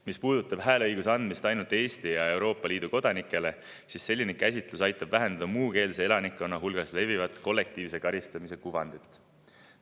Mis puudutab hääleõiguse andmist ainult Eesti ja Euroopa Liidu kodanikele, siis selline käsitlus aitab vähendada muukeelse elanikkonna hulgas levivat kollektiivse karistamise kuvandit.